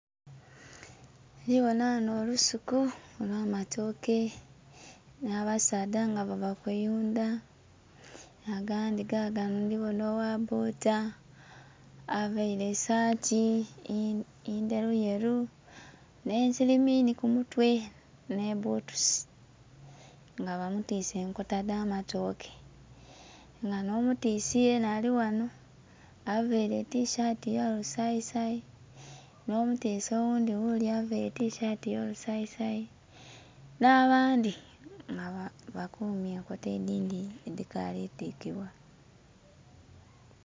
Ndhibonha ghanho olusuku olwamatooke nh'abasaadha nga bava kuyundha, agandhi gaganho ndhi bonhagho ogha bbodha aveile esaati endhelu yelu nhe siliminhi kumutwe nhe bbutusi nga bamutwise enkoko edha matooke nga bamutwise yenha alighanho aveile etishati eya kasayi sayi nho mutisi oghundhi ghule aveile etishati eya lusayi sayi nha bandhi nga bakumye enkota edhindhi edhikali tikibwa.